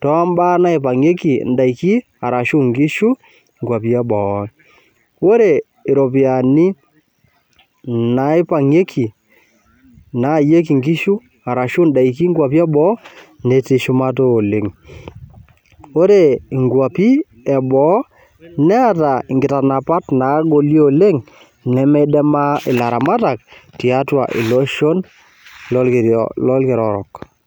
tombaa naipang'ieki inkishu arashu in'daiki inkwapi e boo. Oore iropiyiani naipang'ieki nayayieki inkishu arashu in'daiki inkwapi e boo netii shumata oleng. Oore inkwapi e boo neeta inkitanapat nagoli oleng nemeidimaa ilaramatak, tiatua iloshon lorkila orok.